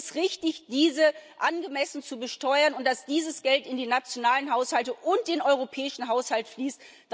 Und es ist richtig, diese angemessen zu besteuern und dass dieses Geld in die nationalen Haushalte und den europäischen Haushalt fließt.